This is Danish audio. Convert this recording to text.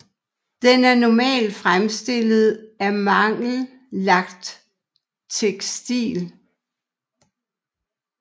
Den er normal fremstillet af mangel lagt tekstil